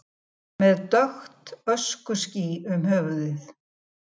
Með dökkt öskuský um höfuðið